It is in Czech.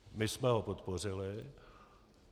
My jsme ho podpořili.